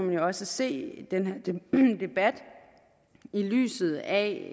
man også se den her debat i lyset af